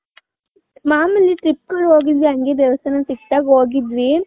ಮಾಮೂಲಿ trip ಗಳಿಗ ಹೋಗಿದ್ವಿ ಹಂಗೇ ದೇವಸ್ಥಾನ ಸಿಕ್ದಾಗ ಹೋಗಿದ್ವಿ .